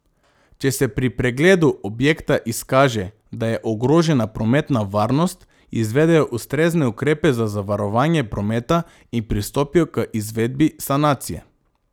Če se pri pregledu objekta izkaže, da je ogrožena prometna varnost, izvedejo ustrezne ukrepe za zavarovanje prometa in pristopijo k izvedbi sanacije.